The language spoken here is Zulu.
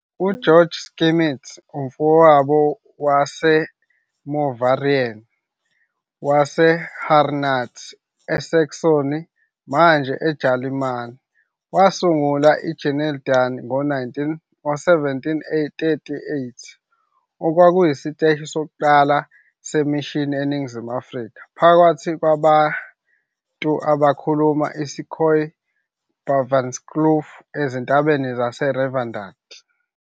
UGeorg Schmidt, uMfowethu waseMoravian waseHerrnhut, eSaxony, manje eJalimane, wasungula i-Genadendal ngo-1738, okwakuyisiteshi sokuqala semishini eNingizimu Afrika, phakathi kwabantu abakhuluma isiKhoe e-Baviaanskloof ezintabeni zase-Riviersonderend.